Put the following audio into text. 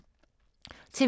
TV 2